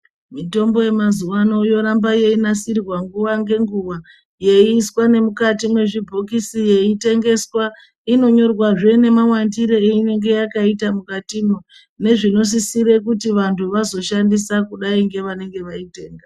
Mitombo yemazuwaano yoramba yeinasirwa nguwa ngenguwa ,yeiiswa nemukati mwezvibhokisi, yeiitengeswa. Inonyorwazve nemawandire einenge yakaita mukatimwo, nezvinosisire kuti vantu vanoishandisa kudai ngevanenge vaitenga.